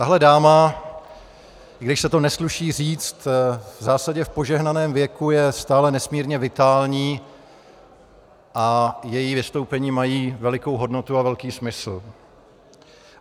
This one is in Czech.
Tahle dáma, i když se to nesluší říct, v zásadě v požehnaném věku je stále nesmírně vitální a její vystoupení mají velikou hodnotu a velký smysl.